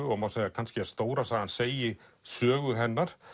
og má segja kannski að stóra sagan segi sögu hennar